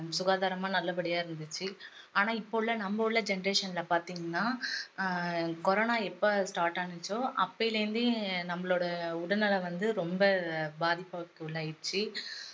சுகாதாரமா நல்லபடியா இருந்துச்சு ஆனா இப்போ உள்ள நம்ம உள்ள generation ல பாத்திங்கன்னா ஆஹ் corona எப்போ start ஆச்சோ அப்பையில இருந்தே நம்மளோட உடல்நலம் வந்து ரொம்ப பாதிப்புக்கு உள்ளாகிடுச்சி